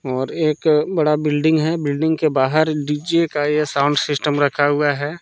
और एक बड़ा बिल्डिंग है बिल्डिंग के बाहर डीजे का यह साउंड सिस्टम रखा हुआ है।